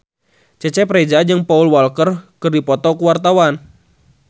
Cecep Reza jeung Paul Walker keur dipoto ku wartawan